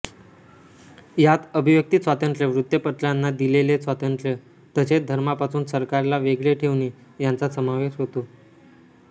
यात अभिव्यक्तीस्वातंत्र्य वृत्तपत्रांना दिलेले स्वातंत्र्य तसेच धर्मापासून सरकारला वेगळे ठेवणे यांचा समावेश होतो